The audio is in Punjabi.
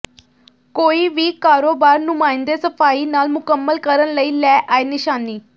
ਕੋਈ ਵੀ ਕਾਰੋਬਾਰ ਨੁਮਾਇੰਦੇ ਸਫ਼ਾਈ ਨਾਲ ਮੁਕੰਮਲ ਕਰਨ ਲਈ ਲੈ ਆਏ ਨਿਸ਼ਾਨੀ